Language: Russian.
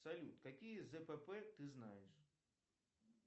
салют какие зпп ты знаешь